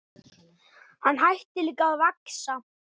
Hann hætti líka að vaxa.